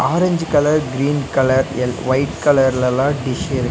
orange colour green colour எள் white கலர்லலா dish இருக்--